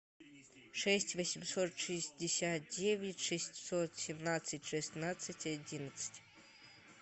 шесть восемьсот шестьдесят девять шестьсот семнадцать шестнадцать одиннадцать